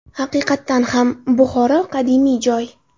Haqiqatan ham, Buxoro qadimiy joy.